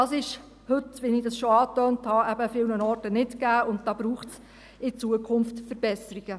Das ist heute – wie ich schon angetönt habe – eben an vielen Orten nicht gegeben, und da braucht es in Zukunft Verbesserungen.